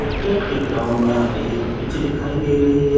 Cricket के ground में हमें एक पिच दिखाई दे रही हैं।